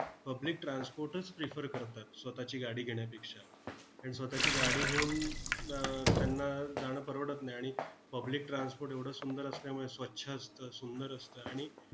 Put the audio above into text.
Public transport च prefer करतात स्वतःची गाडी घेण्यापेक्षा. कारण स्वतःची गाडी घेऊन आह त्यांना जाणं परवडत नाही. आणि public transport एवढं सुंदर असल्यामुळे स्वच्छ असतं, सुंदर असतं, आणि